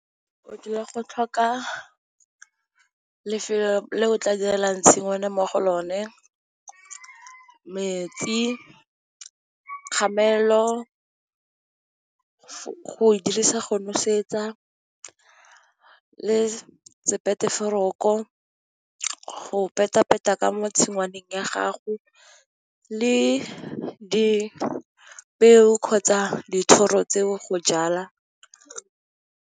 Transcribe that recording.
Go dula go tlhoka lefelo le o tla direlang tshingwana mo go lone, metsi, dikgamelo go dirisa go nosetsa, le go peta peta ka mo tshingwaneng ya gago, le dipeo kgotsa dithoro tseo go jala.